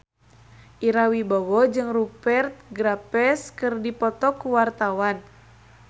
Ira Wibowo jeung Rupert Graves keur dipoto ku wartawan